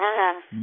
हाँ हाँ